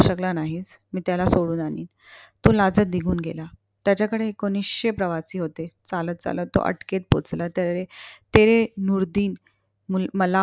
शकला नाहीस. मी त्याला सोडवून आणीन. तो लाजत निघून गेला. त्याच्याकडे एकोणीसशे प्रवासी होते. चालत चालत तो अटकेत पोहोचला. त्यावेळी ते मला